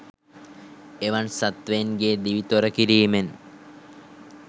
එවන් සත්වයින්ගේ දිවි තොරකිරීමෙන්